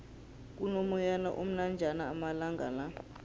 kuno moyana omnanjana amalangala